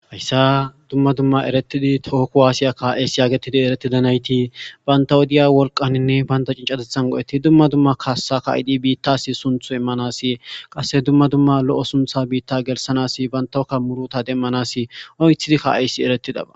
Hayssa dumma dumma erettidi tooku aasiya ka'esi yaagetidi eretidanayti banta wodiya wolqaninne baynta cincatethan go'eti dumma dumma kaassa ka'idi biittasi sunthu immanasi qasse dumma dumma lo'o suntha biitta gelsanas bantawkka muruta demmanas oythidi kaayssi eretidaba.